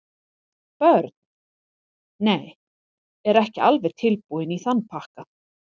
Börn: Nei, er ekki alveg tilbúinn í þann pakka.